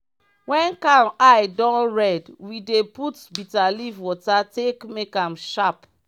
wen cow eye don red we dey put bitterleaf water take make am sharp.